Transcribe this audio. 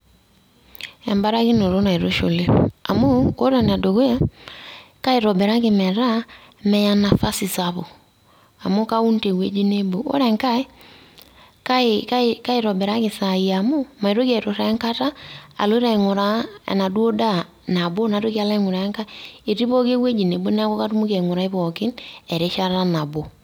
Ebarakinoto naitushuli amu ore ene dukuya kaitobiraki metaa meya nafasi SAPUK, amu Kaun te wueji nebo, ore engae Kai kaitobiraki esai amu maitoki auturraa enkata aloito aing'uraa ena duo ndaa nabo naitoki o engae etii pooki ewueii nebo neaku katumoki aing'urai pookin erishata nabo.